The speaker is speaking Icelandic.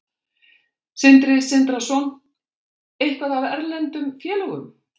Sindri Sindrason: Eitthvað af erlendum félögum?